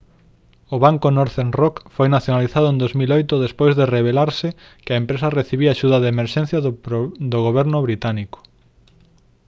o banco northern rock foi nacionalizado en 2008 despois de revelarse que a empresa recibira axuda de emerxencia do goberno británico